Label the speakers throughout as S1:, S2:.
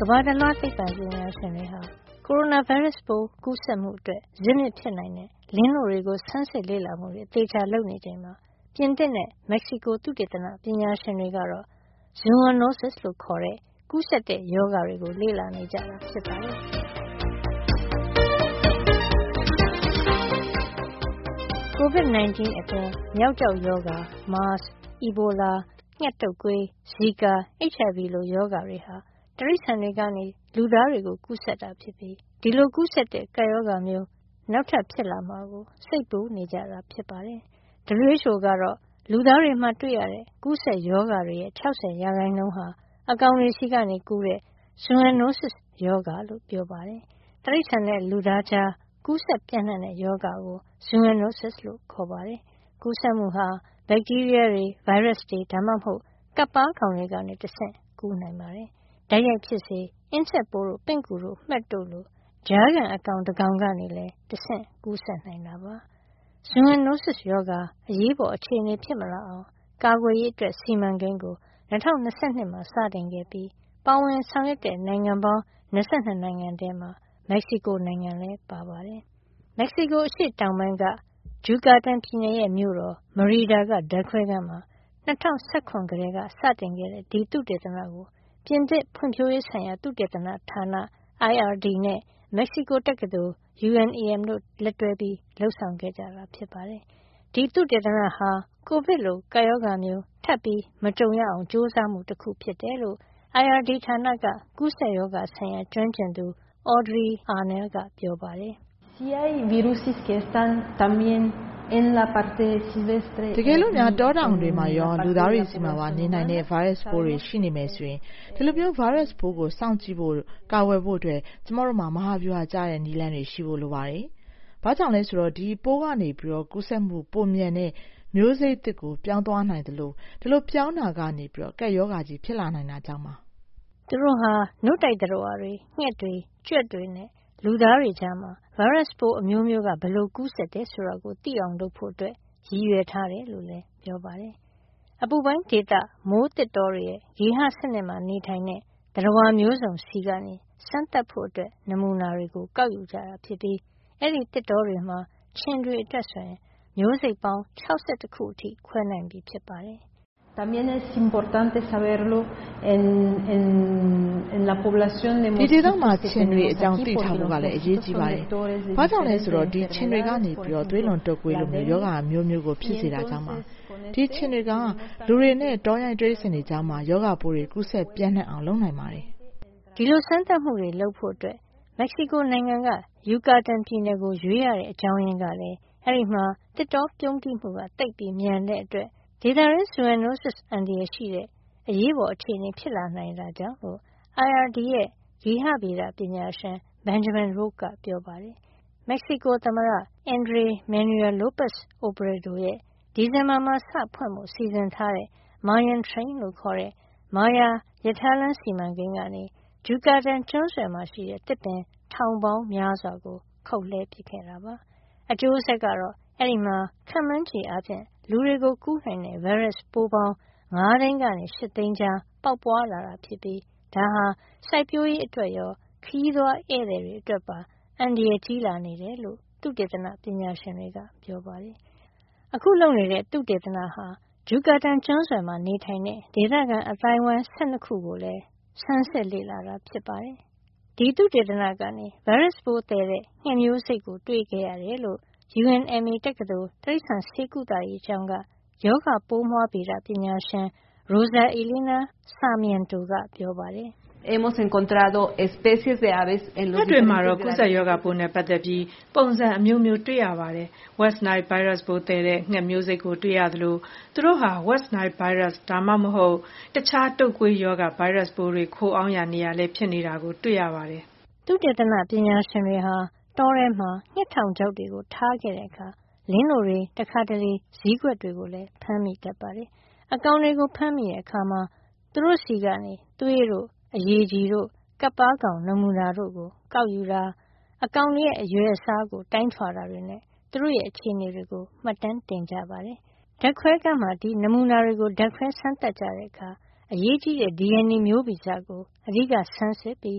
S1: ကမ္ဘာတလွှားသိပ္ပံပညာရှင်တွေက ကိုရိုနာဗိုင်းရပ်စ်ကူးစက်မှုအတွက် ဇစ်မြစ်ဖြစ်နိုင်တဲ့လင်းနို့တွေကို ဆန်းစစ်လေ့လာမှုတွေ အသေအချာလုပ်နေချိန်မှာ ပြင်သစ်နဲ့ မက္ကဆီကိုသုတေသနပညာရှင်တွေက ဇူအွန်နိုးစစ် - Zoonoses လို့ခေါ်တဲ့ ကူးစက်တဲ့ရောဂါတွေကို လေ့လာနေကြတာ ဖြစ်ပါတယ်။ ကိုဗစ် 19 အပြင် မျောက်ကျောက်ရောဂါ၊ မားစ်၊ အီဘိုလာ၊ ငှက်တုပ်ကွေး၊ ဇီကာ၊ HIV လို ရောဂါတွေဟာ တိရိစ္ဆာန်တွေကနေ လူသားတွေကိုကူးစက်တာဖြစ်ပြီး ဒီလို ကူးစက်တဲ့ကပ်ရောဂါမျိုး နောက်ထပ် ဖြစ်လာမှာကို စိတ်ပူနေကြပါတယ်။ WHO ကတော့ လူသားတွေမှာတွေ့ရတဲ့ ကူးစက်ရောဂါတွေရဲ့ ၆၀ % အကောင်တွေဆီကနေကူးတဲ့ ဇူအွန်နိုးစစ်စ်ရောဂါလို့ ပြောပါတယ်။ တိရိစ္ဆာန်နဲ့လူသားကြား ကူးစက်ပြန့်နှံ့တဲ့ရောဂါကို ဇူအွန်နိုးစစ်စ် လို့ ခေါ်ပါတယ်။ ကူးစက်မှုဟာ ဗက်တီးရီးယားတွေ၊ ဗိုင်းရပ်စ်တွေ ဒါမှမဟုတ် ကပ်ပါးကောင်တွေကတဆင့် ကူးနိုင်ပါတယ်။ တိုက်ရိုက်ဖြစ်စေ၊ အင်းဆက်ပိုးတို့၊ ပင့်ကူတို့၊ မှက်တို့လို ကြားခံအကောင် တကောင်ကောင်ကနေလည်း တဆင့် ကူးစက်နိုင်တာပါ။ ဇူအွန်နိုးစစ်စ်ရောဂါ အရေးပေါ်အခြေအနေဖြစ်မလာအောင် ကာကွယ်ရေး စီမံကိန်းကို ၂၀၂၂ မှာ စတင်ခဲ့ပြီး ပါဝင်တဲ့ဆောင်ရွက်တဲ့နိုင်ငံပေါင်း ၂၂ နိုင်ငံထဲမှာ မက္ကဆီကိုနိုင်ငံလည်း ပါပါတယ်။ မက္ကဆီကိုအရှေ့တောင်ပိုင်းက Yucatan ဂျူကာတန်ပြည်နယ်ရဲ့ မြို့တော်မရီဒါ (Merida) က ဓါတ်ခွဲခန်းမှာ ၂၀၁၇ ကတည်းကစတင်တဲ့ ဒီသုတေသနကို ပြင်သစ်ဖွံ့ဖြိုးရေးဆိုင်ရာ သုတေသနဌာန IRD နဲ့ မက္ကဆီကိုတက္ကသိုလ် UNAM တို့ လက်တွဲလုပ်ဆောင်ကြတာပါ။ ဒီသုတေသနဟာ ကိုဗစ်လိုကပ်ရောဂါမျိုးထပ်မကြုံရအောင် ကြိုးစားမှုတခုဖြစ်တယ်လို့ IRD ဌာနက ကူးစက်ရောဂါဆိုင်ရာ ကျွမ်းကျင်သူ Audrey Arnal က ပြောပါတယ်။ "တကယ်လို့ တောကောင်တွေမှာရော လူသားတွေဆီမှာပါနေနိုင်တဲ့ ဗိုင်းရပ်စ်တွေ ရှိနေမယ်ဆိုရင် ဒီလို ဗိုင်းရပ်စ်ကိုစောင့်ကြည့်ဖို့နဲ့ ကာကွယ်ဖို့အတွက် ကျမတို့မှာ မဟာဗျူဟာကျတဲ့ နည်းလမ်းတွေရှိဖို့လိုပါတယ်။ ဘာကြောင့်လဲဆိုတော့ ဒီပိုးကနေ ကူးစက်မှုပိုမြန်တဲ့ မျိုးစိတ်သစ်ကို ပြောင်းသွားနိုင်သလို ဒီလိုပြောင်းတာကနေ ကပ်ရောဂါကြီး ဖြစ်လာနိုင်တာကြောင့်ပါ။” သူတို့ဟာ နို့တိုက်သတ္တဝါတွေ၊ ငှက်တွေ၊ ကြွက်တွေနဲ့ လူသားတွေကြားမှာ ဗိုင်းရပ်စ်အမျိုးမျိုးက ဘယ်လိုကူးစက်တယ်ဆိုတာကိုသိအောင်လုပ်ဖို့ ရည်ရွယ်ထားတယ်လို့လည်းပြောပါတယ်။ အပူပိုင်းဒေသမိုးသစ်တောတွေရဲ့ ဂေဟစနစ်မှာနေထိုင်တဲ့ သတ္တဝါမျိုးစုံဆီက စမ်းသပ်ဖို့နမူနာတွေကို ကောက်ယူကြတာဖြစ်ပြီး အဲဒီသစ်တောတွေမှာ ခြင်တွေအတွက်ဆို မျိုးစိတ်ပေါင်း ၆၁ ခုအထိ ခွဲနိုင်ပြီဖြစ်ပါတယ်။ " ဒီဒေသမှာရှိတဲ့ ခြင်တွေအကြောင်း သိထားဖို့ကလည်း အရေးကြီးပါတယ်။ ဘာကြောင့်လဲဆိုတော့ ဒီခြင်တွေက သွေးလွန်တုပ်ကွေးလို ရောဂါအမျိုးမျိုးကိုဖြစ်စေတာကြောင့် ပါ။ ဒီခြင်တွေဟာ လူနဲ့ တောရိုင်းတိရိစ္ဆာန်တွေကြားမှာ ရောဂါပိုးတွေ ကူးစက်ပြန့်နှံ့အောင်လုပ်နိုင်ပါတယ်။” ဒီလို စမ်းသပ်မှုတွေလုပ်ဖို့ မက္ကဆီကိုနိုင်ငံက ယူကာတန်ပြည်နယ်ကို ရွေးရတဲ့အကြောင်းရင်းကလည်း အဲဒီမှာ သစ်တောပြုန်းတီးမှုသိပ်မြန်တဲ့အတွက် ဒေသတွင်း ဇူအွန်နိုးစစ်အန္တရာယ်ရှိတဲ့ အရေးပေါ်အခြေအနေဖြစ်လာတာကြောင့်လို့ IRD ရဲ့ ဂေဟဗေဒပညာရှင်. Benjamin Roche က ပြောပါတယ်။ မက္ကဆီကိုသမ္မတ Andres Manuel Lopez Obrador' ရဲ့ ဒီဇင်ဘာမှာစဖွင့်ဖို့ စီစဉ်ထားတဲ့ Mayan Train မာယာရထားလမ်းစီမံကိန်းကနေ ဂျူကာတန်ကျွန်းဆွယ်မှာရှိတဲ့ သစ်ပင်ထောင်ပေါင်းများစွာကို ခုတ်ပစ်ခဲ့တာပါ။ အကျိုးဆက်ကတော့ အဲဒီမှာ ခန့်မှန်းခြေအားဖြင့် လူတွေကို ကူးစက်နိုင်တဲ့ဗိုင်းရပ်စ်ပိုးပေါင်း ၅ သိန်းကနေ ၈ သိန်းကြား ပေါက်ပွါးလာတာဖြစ်ပြီး ဒါဟာ စိုက်ပျိုးရေးအတွက်ရော ခရီးသွားဧည့်သည်တွေအတွက်ပါ အန္တရာယ်ကြီး လာနေတယ်လို့ သုတေသနပညာရှင်တွေက ပြောပါတယ်။ အခုလုပ်နေတဲ့သုတေသနမှာ ဂျုကာတန်ကျွန်းဆွယ်မှာနေထိုင်တဲ့ ဒေသခံအသိုင်းအဝိုင်း ၁၂ ခုကိုပါ ဆန်းစစ်ခဲ့ပါတယ်။ ဒီသုတေသနကနေ ဗိုင်းရပ်စ်သယ်တဲ့ငှက်မျိုးစိတ်ကို တွေ့ခဲ့ရတယ်လို့ UNMA တက္ကသိုလ် တိရိစ္ဆာန်ဆေးကုသရေးကျောင်းက ရောဂါပိုးမွှားဗေဒပညာရှင် Rosa Elena Sarmiento က ပြောပါတယ်။ "ငှက်တွေမှာတော့ ကူးစက်ရောဂါပိုးနဲ့ပတ်သက်ပြီး ပုံစံအမျိုးမျိုးတွေ့ရပါတယ်။ West Nile ဗိုင်းရပ်စ်သယ်တဲ့ငှက်မျိုးစိတ်ကို တွေ့ခဲ့ရသလို သူတို့ဟာ West Nile ဗိုင်းရပ်စ် ဒါမှမဟုတ် တခြား တုပ်ကွေးရောဂါ ဗိုင်းရပ်စ်တွေ ခိုအောင်းရာနေရာလည်း ဖြစ်နေတာတွေ့ရပါတယ်။” သုတေသနပညာရှင်တွေဟာ တောထဲမှာ ငှက်ထောင်ချောက်တွေထားတဲ့အခါ လင်းနို့တွေ၊ တခါတလေ ဇီးကွက်တွေကိုလည်း ဖမ်းမိတတ်ပါတယ်။ အကောင်တွေကိုဖမ်းမိတဲ့အခါ သူတို့ဆီက သွေးတို့၊ အရည်ကြည်တို့ ကပ်ပါးကောင်နမူနာတွေကိုယူတာ၊ အကောင်တွေရဲ့ အရွယ်အစားကို တိုင်းထွာတာတွေနဲ့ သူတို့ရဲ့အခြေနေတွေကို မှတ်တမ်းတင်ကြပါတယ်။ ဓါတ်ခွဲခန်းမှာ ဒီနမူနာတွေကို ဓါတ်ခွဲစမ်းသပ်ကြတဲ့အခါ အရေးကြီးတဲ့ DNA မျိုးဗီဇကို အဓိက ဆန်းစစ်ပြီး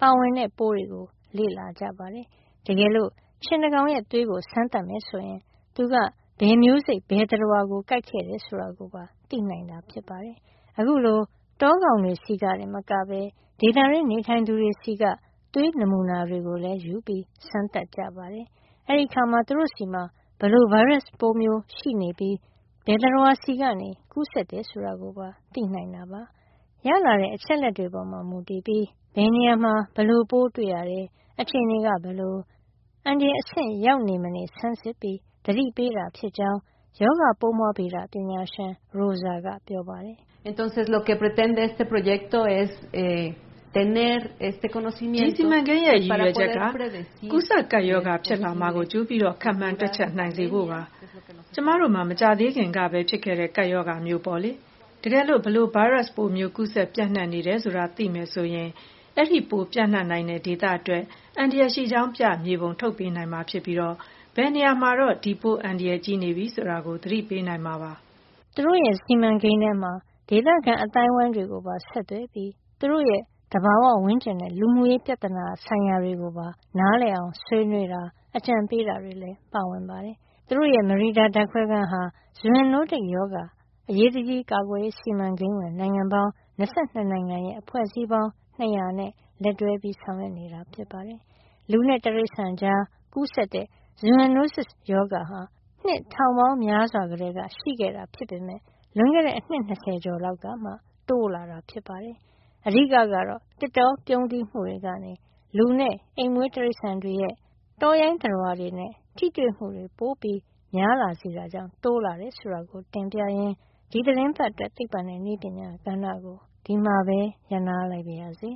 S1: ပါဝင်တဲ့ပိုးတွေကို လေ့လာကြပါတယ်။ တကယ်လို့ ခြင်တကောင်ရဲ့သွေးကို စမ်းသပ်မယ်ဆိုရင် သူက ဘယ်မျိုးစိတ် ဘယ်သတ္တဝါကိုကိုက်ခဲ့တယ်ဆိုတာ သိနိုင်တာပါ။ အခုလို တောကောင်တွေဆီကတင်မကဘဲ ဒေသတွင်းနေထိုင်သူတွေဆီက သွေးနမူနာတွေကိုလည်းယူပြီး စမ်းသပ်ကြပါတယ်။ အဲဒီအခါမှာ သူတို့ဆီမှာ ဘယ်လို ဗိုင်းရပ်စ်မျိုးရှိနေပြီး ဘယ်သတ္တဝါဆီကကူးတယ်ဆိုတာကို သိနိုင်ပါတယ်။ ရလာတဲ့အချက်လက်တွေပေါ်မူတည်ပြီး ဘယ်နေရာမှာ ဘယ်လိုပိုးတွေ့ရတယ်၊ အခြေအနေက ဘယ်လို အန္တရာယ်အဆင့်ရောက်နေမနေ ဆန်းစစ်ပြီးသတိပေးတာဖြစ်ကြောင်း ရောဂါပိုးမွှားဗေဒပညာရှင် Rosa ကပြောပါတယ်။ "ဒီ စီမံကိန်းရဲ့ရည်ရွယ်ချက်က ကူးစက်ကပ်ရောဂါဖြစ်လာမှာကို ကြိုပြီးခန့်မှန်းတွက်ချက်နိုင် စေဖို့ ဖြစ်ပါတယ်။ ကျမတို့မှာ မကြာသေးခင်ကပဲဖြစ်ခဲ့တဲ့ ကပ်ရောဂါမျိုးပေါ့လေ။ တကယ်လို့ ဘယ်လို ဗိုင်းရပ်စ်မျိုး ကူးစက်ပြန့်နှံ့နေတယ်ဆိုတာသိမယ်ဆိုရင် ဒီပိုးပြန့်နိုင်တဲ့ဒေသအတွက် အန္တရာယ်ရှိကြောင်းပြ မြေပုံထုတ်ပေးနိုင်မှာဖြစ်ပြီး ဘယ်နေရာမှာတော့ ဒီပိုး အန္တရာယ်ကြီးနေပြီဆိုတာကို သတိပေးနိုင်မှာဖြစ်ပါတယ်။ သူတို့စီမံကိန်းထဲမှာ ဒေသခံအသိုင်းအဝိုင်းတွေကိုပါဆက်သွယ်ပြီး သူတို့ရဲ့ သဘာဝဝန်းကျင်နဲ့ လူမှုရေးပြဿနာဆိုင်ရာတွေကို နားလည်အောင်ဆွေးနွေးတာ၊ အကြံပေးတာတွေလည်း ပါဝင်ပါတယ်။ သူတို့ရဲ့ မရီဒါဓါတ်ခွဲခန်းဟာ ဇူအွန်နိုးတစ်ရောဂါအရေးတကြီးကာကွယ်ရေး စီမံကိန်းဝင်နိုင်ငံပေါင်း ၂၂ နိုင်ငံရဲ့အဖွဲ့အစည်းပေါင်း ၂၀၀ နဲ့ လက်တွဲဆောင်ရွက်နေတာပါ။ လူနဲ့တိရိစ္ဆာန်ကြားကူးစက်တဲ့ ဇူအွန်နိုးစစ်စ်ရောဂါဟာ နှစ်ထောင်ပေါင်းများစွာကတည်းက ရှိခဲ့တာဖြစ်ပေမယ့် လွန်ခဲ့တဲ့အနှစ် ၂၀ ကျော်လောက်ကမှ တိုးလာတာဖြစ်ပါတယ်။ အဓိကကတော့ သစ်တောပြုန်းတီးမှုတွေကနေ လူနဲ့အိမ်မွေးတိရိစ္ဆာန်တွေရဲ့ တောရိုင်းသတ္တဝါတွေနဲ့ ထိတွေ့မှုပိုများလာစေတာကြောင့် တိုးလာတယ်ဆိုတာကိုတင်ပြရင်း ဒီသီတင်းပတ်အတွက် သိပ္ပံနဲ့နည်းပညာကဏ္ဍကို ဒီမှာပဲ ရပ်နားလိုက်ပါရစေ